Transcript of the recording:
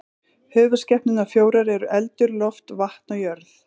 Höfuðskepnurnar fjórar eru eldur, loft, vatn og jörð.